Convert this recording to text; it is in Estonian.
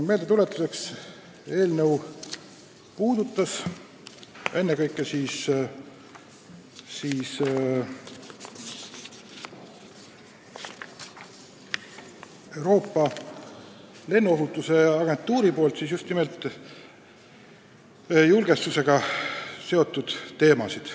Meeldetuletuseks veel nii palju, et eelnõu käsitleb ennekõike Euroopa Lennuohutusagentuuri tõstatatud julgestusega seotud teemasid.